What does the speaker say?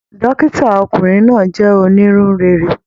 Dókítà ọkùnrin náà jẹ onínú réré.